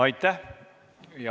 Aitäh!